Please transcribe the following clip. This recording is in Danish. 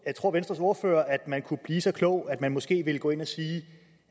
tror venstres ordfører at man kunne blive så klog at man måske ville gå ind og sige